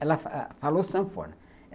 Ela falou sanfona.